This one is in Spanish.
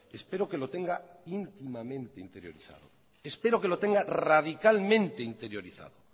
espero que lo tenga íntimamente interiorizado espero que lo tenga radicalmente interiorizado